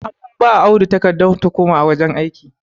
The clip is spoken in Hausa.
an ba Audu takardar tuhuma a wajen aiki